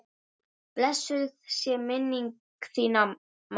Blessuð sé minning þín mamma.